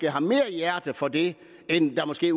har mere hjerte for det end der måske